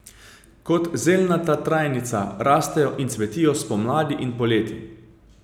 Kot zelnata trajnica rastejo in cvetijo spomladi in poleti.